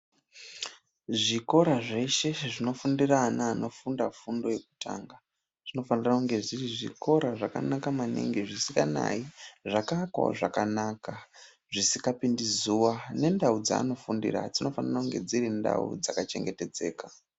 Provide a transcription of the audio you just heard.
Zvikora zveshe zvinofundira ana anofunda fundo yekutanga. Zvinofanira kunge zviri zvikora zvakanaka maningi zvakaakwavo zvakanaka zvisingapindi zuva, nendau dzaanofundira dzinofanira kunge dziri ndau dzakachengetedzeka.